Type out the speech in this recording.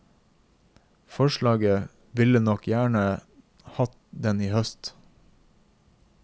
Forlaget ville nok gjerne hatt den i høst.